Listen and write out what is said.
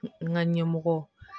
N ka ɲɛmɔgɔ